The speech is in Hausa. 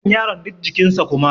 wannan yaron duk jikinsa kuma